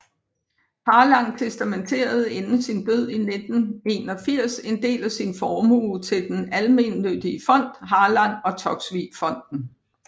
Harlang testamenterede inden sin død i 1981 en del af sin formue til den almennyttige fond Harlang og Toksvig Fonden